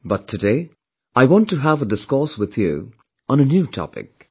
But, today, I want to have a discourse with you on a new topic